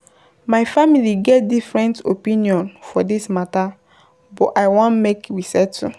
My family get different opinion for dis mata but I wan make we settle.